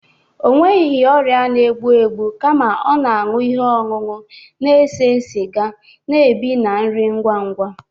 Ọ nweghị ọrịa na-egbu egbu kama ọ na-aṅụ ihe ọṅụṅụ na-ese siga, na-ebi na nri ngwa ngwa